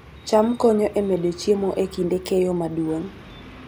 cham konyo e medo chiemo e kinde keyo maduong'